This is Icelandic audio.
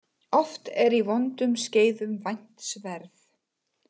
Oft er í vondum skeiðum vænt sverð.